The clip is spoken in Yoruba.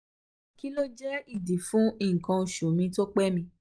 kí ló lè jẹ́ ìdí fún nkan osu mi to pé mi?